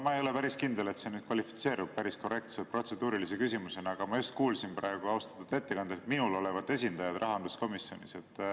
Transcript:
Ma ei ole päris kindel, et see nüüd kvalifitseerub päris korrektse protseduurilise küsimusena, aga ma just kuulsin praegu austatud ettekandjalt, et minul olevat esindajad rahanduskomisjonis.